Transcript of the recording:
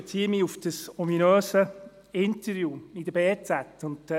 Ich beziehe mich auf das ominöse Interview in der «Berner Zeitung (BZ».